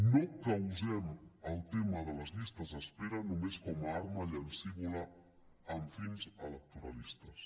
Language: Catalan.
no causem el tema de les llistes d’espera només com a arma llancívola amb fins electoralistes